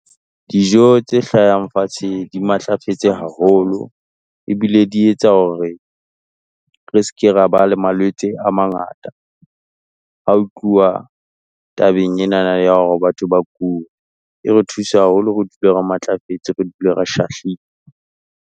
Dijo tse hlahang fatshe di matlafetse haholo, e bile di etsa hore re se ke ra ba le malwetse a mangata. Ha ho tluwa tabeng yena ya hore batho ba kule. E re thusa haholo, re dule re matlafetse, re dule re shahlile.